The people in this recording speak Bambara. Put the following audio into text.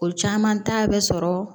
O caman ta bɛ sɔrɔ